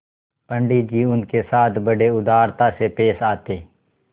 पंडित जी उनके साथ बड़ी उदारता से पेश आते